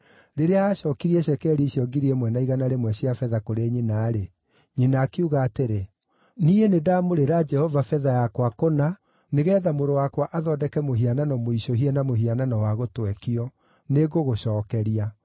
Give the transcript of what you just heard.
Rĩrĩa aacookirie cekeri icio ngiri ĩmwe na igana rĩmwe cia betha kũrĩ nyina-rĩ, nyina akiuga atĩrĩ, “Niĩ nĩndamũrĩra Jehova betha yakwa kũna nĩgeetha mũrũ wakwa athondeke mũhianano mũicũhie na mũhianano wa gũtwekio. Nĩngũgũcookeria.”